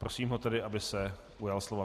Prosím ho tedy, aby se ujal slova.